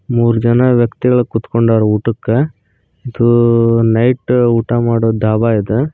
ಮೂರು ಜನ ವ್ಯಕ್ತಿಗಳು ಕುತ್ಕೊಂಡಾರ ಊಟಕ್ಕೆ ಇದು ನೈಟ್ ಊಟ ಮಾಡೋ ಢಾಬಾ ಇದು.